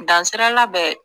Dansirala bɛ